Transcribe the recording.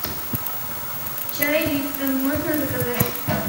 чай липтон можно заказать